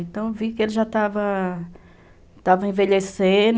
Então, vi que ele já estava estava envelhecendo.